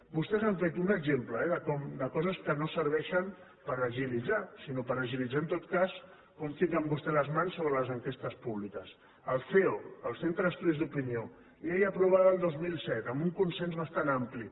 vostès han fet un exemple eh de coses que no serveixen per agilitzar sinó per agilitzar en tot cas com fiquen vostès les mans sobre les enquestes públiques el ceo centre d’estudis d’opinió llei aprovada el dos mil set amb un consens bastant ampli